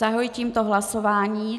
Zahajuji tímto hlasování.